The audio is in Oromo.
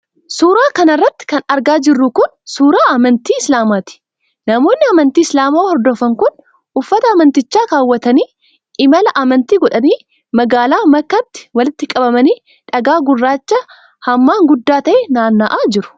Suura kana irratti kan argaa jirru kun, suura amantii islaamaati. Namoonni amantii islaamaa hordofan kun, uffata amantichaa kaawwatanii, imala amantii godhanii ,magaala makkaatti walitti qabamanii dhagaa gurraacha hammaan guddaa ta'e naanna'aa jiru.